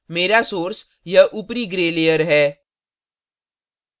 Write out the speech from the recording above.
मेरा source यह ऊपरी gray layer है